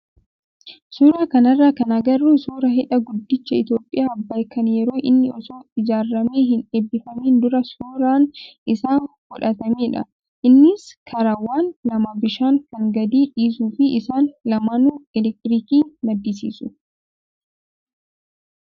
Suuraa kanarraa kan agarru suuraa hidha guddicha Itoophiyaa Abbaay kan yeroo inni osoo ijaaramee hin eebbifamiin dura suuraan isaa fudhatamedha. Innis karaawwan lama bishaan kan gadi dhiisuu fi isaan lamaanuu elektiriikii maddisiisu.